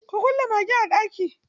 Ku kulle magen a ɗaki.